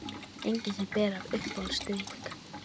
Engin sem ber af Uppáhaldsdrykkur?